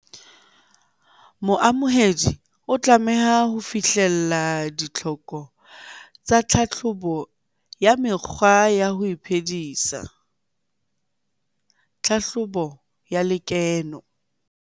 Moamohedi o tlameha ho fihlella ditlhoko tsa tlhahlobo ya mekgwa ya ho iphedisa, tlhahlobo ya lekeno.